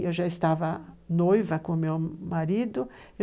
Eu já estava noiva com meu marido.